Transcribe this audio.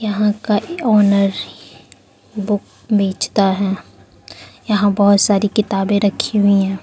यहां का ऑनर ही बुक बेचता है यहां बहुत सारी किताबें रखी हुई है।